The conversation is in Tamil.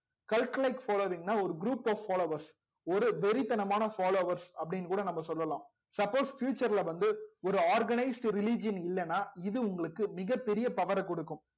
calculate following நா ஒரு group of followers ஒரு வெறிதனமான followers அப்டின்னு கூட நம்ப சொல்லலாம் லாம் suppose future ல வந்து ஒரு organised religion இல்ல னா இது உங்களுக்கு மிக பெரிய ஒரு power குடுக்கும்